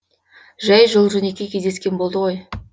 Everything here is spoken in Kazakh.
жай жол жөнекей кездескен болды ғой